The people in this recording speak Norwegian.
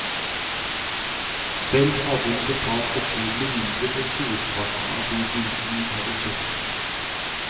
Selv hadde hun betalt betydelig mindre for storparten av de bildene hun hadde kjøpt.